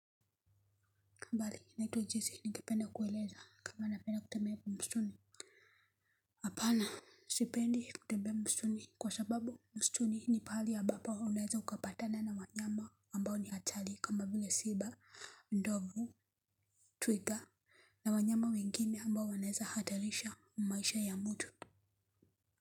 Kaa mbali naitwa jesi ningependa kueleza kama napenda kutembea msituni hapana sipendi kutembea msituni kwa sababu msituni ni pahali ambapo unaeza ukapatana na wanyama ambao ni hatari kama vile simba ndovu twiga na wanyama wengine ambao wanaeza hatarisha maisha ya mtu.